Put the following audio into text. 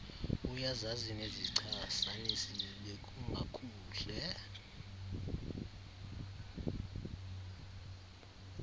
uyazazi nezichasanisi bekungakuhle